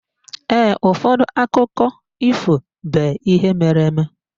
Ụfọdụ akụkọ ifo be ihe mere-eme.